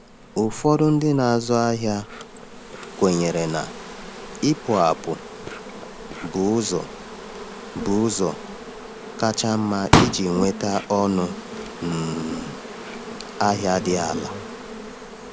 Ụfọdụ ndị na-azụ ahịa kwenyere na ịpụ apụ bụ ụzọ bụ ụzọ kacha mma iji nweta ọnụ um ahịa dị ala.